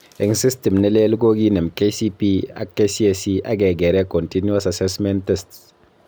Eng system ne leel kokinem KCPE ak KCSE akekeree continuous assessment tests